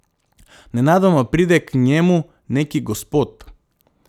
Nenadoma pride k njemu neki gospod.